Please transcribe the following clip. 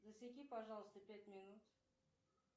засеки пожалуйста пять минут